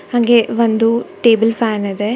ಹಂಗೆ ಒಂದು table fan ಇದೆ.